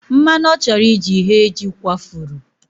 Mmanụ ọ chọrọ iji ghee jị kwafuru.